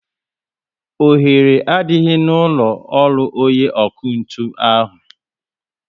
Oghere adịghị n'ụlọ ọrụ onye ọkụ ntụ ahụ